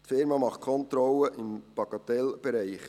Diese Unternehmung macht Kontrollen im Bagatellbereich.